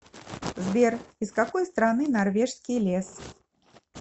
сбер из какой страны норвежский лес